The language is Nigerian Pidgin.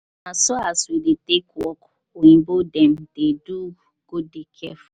no be as we dey take work oyimbo dem dey do you go dey careful.